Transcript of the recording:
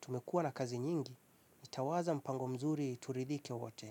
Tumekua na kazi nyingi, nitawaza mpango mzuri turidhike wote.